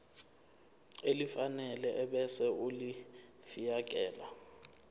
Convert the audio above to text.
elifanele ebese ulifiakela